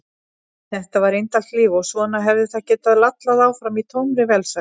Þetta var indælt líf og svona hefði það getað lallað áfram í tómri velsæld.